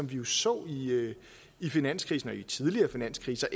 vi jo så i i finanskrisen og i tidligere finanskriser